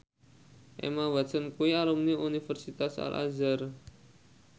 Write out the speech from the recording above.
Emma Watson kuwi alumni Universitas Al Azhar